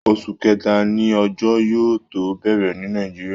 Oṣù kẹta ni òjò yóò tó bẹ̀rẹ̀ ní Nigeria